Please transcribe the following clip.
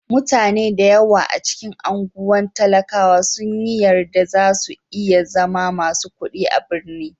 Mutane da yawa a cikin anguwan talakawa sun yi yarda za su iya zama masu kuɗi a birnin.